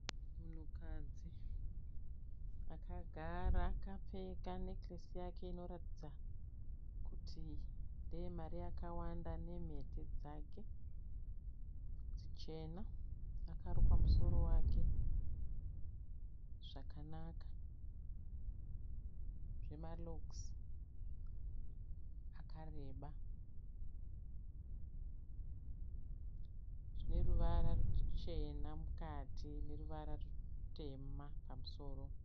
Munhukadzi akagara kapfeka nekilesi yake inoratidza kuti ndeyemari yakawanda ne mhete dzake dzichena akaruka musoro wake zvakanaka zvema "logs" akareba dzineruvara ruchena mukati neruvara rutema pamusoro.